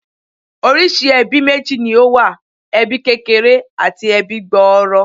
Oríṣìí ẹbí méjì ni ó wà. Ẹbí kékeré àti ẹbí gbòòrò